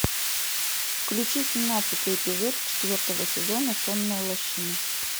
включи семнадцатый эпизод четвертого сезона сонная лощина